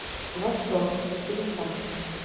восторг телефон